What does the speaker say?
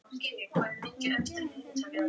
Kjartan svaraði henni ekki.